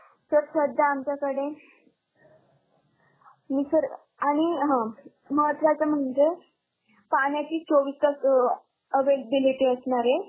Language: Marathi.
Sir सध्या आमच्याकडे आणि sir आणि हम्म महत्वाचं म्हणजे पाण्याची चोवीस तास availability असणार आहे.